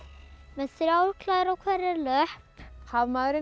með þrjár klær á hverri löpp